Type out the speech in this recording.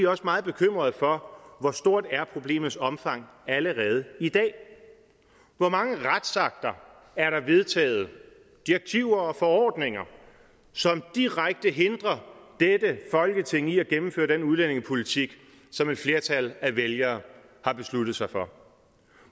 også meget bekymrede for hvor stort problemets omfang er allerede i dag hvor mange retsakter er der vedtaget direktiver og forordninger som direkte hindrer dette folketing i at gennemføre den udlændingepolitik som et flertal af vælgere har besluttet sig for